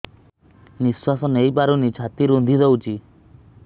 ନିଶ୍ୱାସ ନେଇପାରୁନି ଛାତି ରୁନ୍ଧି ଦଉଛି